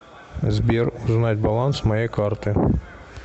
сбер узнать баланс моей карты